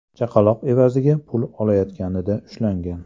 chaqaloq evaziga pul olayotganida ushlangan.